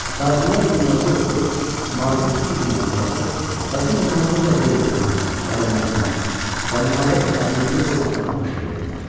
Tacirlər dinməzcə oturub mavi tüstü dumanı buraxır və bu dumanın necə burulduğuna, yayılmasına və nəhayət əriyib yox olmasına tamaşa edirdilər.